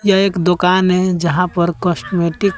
यह एक दुकान है यहां पर कॉस्मेटिक --